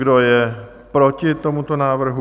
Kdo je proti tomuto návrhu?